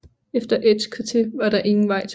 Efter Edgecote var der ingen vej tilbage